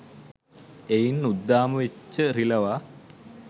එයින් උද්දාම වෙච්ච රිළවා